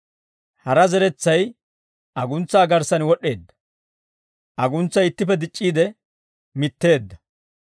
Hara zeretsay aguntsaa garssan wod'd'eedda. Aguntsay ittippe dic'c'iide mitteedda.